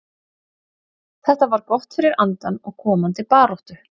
Þetta var gott fyrir andann og komandi baráttu.